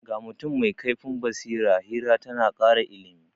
Ga mutum mai kaifin basira, hira ta na kara ilimi.